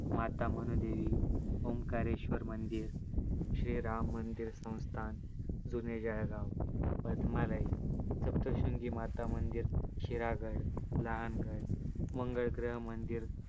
माता मनुदेवी, ओंकारेश्वर मंदिर, श्री राम मंदिर संस्थान जुने जळगाव, पद्मालय, सप्तशृंगीमता मंदिर, शिरागड, लहान गड, मंगळग्रह मंदिर